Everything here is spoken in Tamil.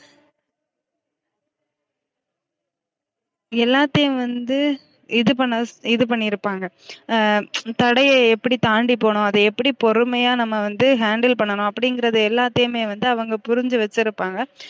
எல்லாத்தையும் வந்து இது பண்ண இது பண்னிருப்பாங்க தடைய எப்டி தாண்டி போனும் அத எப்டி பொறுமையா நம்ம வந்து handle பண்ணனும் அப்டீங்றது எல்லாத்தையுமே வந்து அவுங்க புரிஞ்சு வச்சிருப்பாங்க